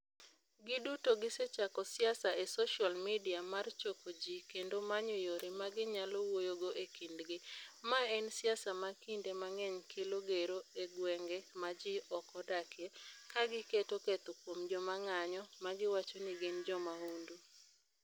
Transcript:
Giduto gisechako siasa e social media mar choko ji kendo manyo yore ma ginyalo wuoyogo e kindgi, ma en siasa ma kinde mang'eny kelo gero e gwenge ma ji ok odakie, ka giketo ketho kuom joma ng'anyo ma giwacho ni gin jo mahundu.